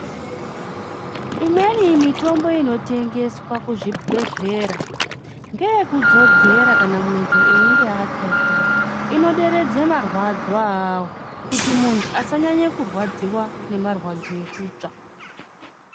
Imweni mitombo inotengeswa muzvibhedhlera Ngeyekudzodzera kana einge atsva zviya inideredza marwadzo awo kuti muntu asanyanya kurwadziwa nemarwadzo ekutsva.